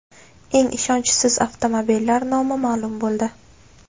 Eng ishonchsiz avtomobillar nomi ma’lum bo‘ldi.